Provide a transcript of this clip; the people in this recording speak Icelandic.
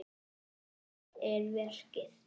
En um hvað er verkið?